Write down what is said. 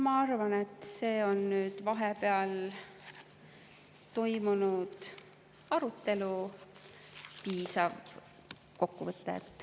Ma arvan, et see on nüüd vahepeal toimunud arutelu piisav kokkuvõte.